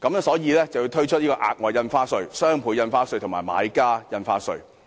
所以才要推出額外印花稅、雙倍從價印花稅及買家印花稅。